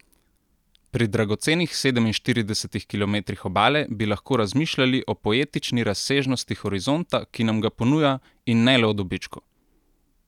Pri dragocenih sedeminštiridesetih kilometrih obale bi lahko razmišljali o poetični razsežnosti horizonta, ki nam ga ponuja, in ne le o dobičku.